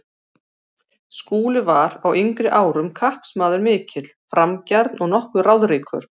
Skúli var á yngri árum kappsmaður mikill, framgjarn og nokkuð ráðríkur.